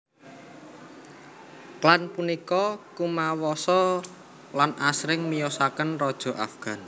Klan punika kumawasa lan asring miyosaken raja Afgan